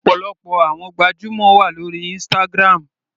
Ọ̀pọ̀lọpọ̀ àwọn gbajúmọ̀ wà lórí Instagram.